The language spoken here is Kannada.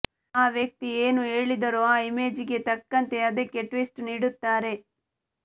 ಆ ವ್ಯಕ್ತಿ ಏನು ಹೇಳಿದರೂ ಆ ಇಮೇಜ್ಗೆ ತಕ್ಕಂತೆ ಅದಕ್ಕೆ ಟ್ವಿಸ್ಟ್ ನೀಡುತ್ತಾರೆ